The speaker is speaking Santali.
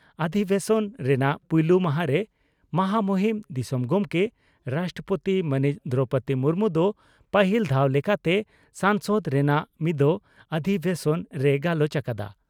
ᱚᱫᱷᱵᱮᱥᱚᱱ ᱨᱮᱱᱟᱜ ᱯᱩᱭᱞᱩ ᱢᱟᱦᱟᱸᱨᱮ ᱢᱚᱦᱟᱢᱩᱦᱤᱱ ᱫᱤᱥᱚᱢ ᱜᱚᱢᱠᱮ (ᱨᱟᱥᱴᱨᱚᱯᱳᱛᱤ) ᱢᱟᱹᱱᱤᱡ ᱫᱨᱚᱣᱯᱚᱫᱤ ᱢᱩᱨᱢᱩ ᱫᱚ ᱯᱟᱹᱦᱤᱞ ᱫᱷᱟᱣ ᱞᱮᱠᱟᱛᱮ ᱥᱚᱝᱥᱚᱫ ᱨᱮᱱᱟᱜ ᱢᱤᱫᱚᱜ ᱚᱫᱷᱤᱵᱮᱥᱚᱱ ᱨᱮᱭ ᱜᱟᱞᱚᱪ ᱟᱠᱟᱫᱟ ᱾